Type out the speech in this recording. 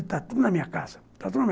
Está tudo na minha casa, está tudo